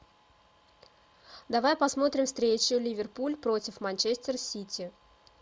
давай посмотрим встречу ливерпуль против манчестер сити